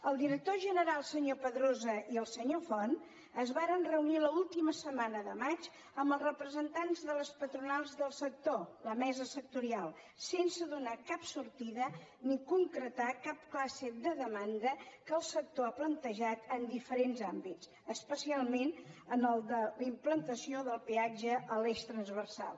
el director general senyor pedrosa i el senyor font es varen reunir a l’última setmana de maig amb els representants de les patronals del sector la mesa sectorial sense donar cap sortida ni concretar cap classe de demanda que el sector ha plantejat en diferents àmbits especialment en el de la implantació del peatge a l’eix transversal